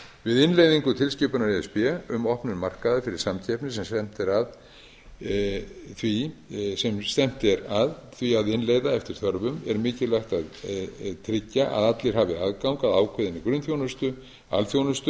við innleiðingu tilskipunar e s b um opnun markaðar fyrir samkeppni sem stefnt er að því að innleiða eftir þörfum er mikilvægt að tryggja að allir hafi aðgang að ákveðinni grunnþjónustu alþjónustu óháð